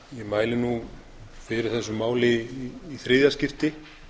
mæli nú fyrir þessu máli í þriðja skipti